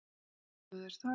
Stúdíóið er þar.